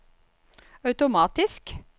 automatisk